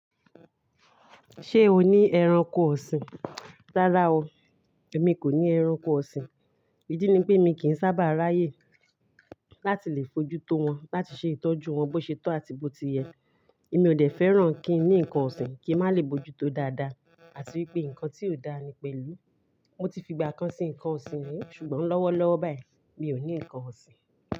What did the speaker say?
Ṣé o ní ẹranko ọ̀sìn? Rárá o, èmi kò ní ẹranko ọ̀sìn. Ìdí ni pé mi kì í sábà ráyè láti lè bójú tó wọn, láti ṣe ìtọ́jú wọn bó ṣe tó àti bó ti yẹ. Èmi ò dẹ̀ fẹ́ràn kí n ní nǹkan ọ̀sìn kí ń má lè bójútó dáadáa àti wípé ǹkan tí ò dáa ni pèlú. Mo ti fi ìgbà kan sí nǹkan ọ̀sìn rí ṣùgbọ́n lọ́wọ́ lọ́wọ́ báyìí mi ò ní ǹkan ọ̀sìn.